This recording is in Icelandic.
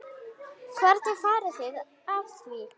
Hvernig farið þið að því?